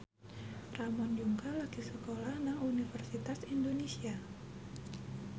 Ramon Yungka lagi sekolah nang Universitas Indonesia